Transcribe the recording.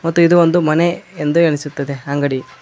ಮತ್ತು ಇದು ಒಂದು ಮನೆ ಎಂದು ಅನಿಸುತ್ತದೆ ಅಂಗಡಿ--